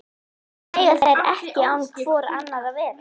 Þó mega þær ekki án hvor annarrar vera.